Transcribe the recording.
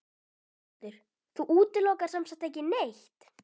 Höskuldur: Þú útilokar sem sagt ekki neitt?